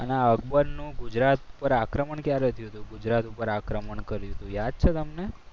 અને અકબર નું ગુજરાત પર આક્રમણ ક્યારે થયું હતું. ગુજરાત ઉપર આક્રમણ કર્યું હતું. યાદ છે તમને?